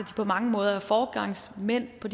på mange måder er foregangsmænd på